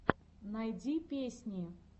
найди песни